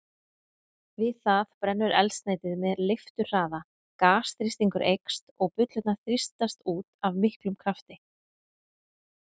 Við það brennur eldsneytið með leifturhraða, gasþrýstingur eykst og bullurnar þrýstast út af miklum krafti.